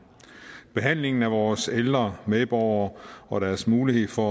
behandlingen af vores ældre medborgere og deres mulighed for